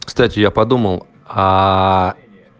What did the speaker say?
кстати я подумал аа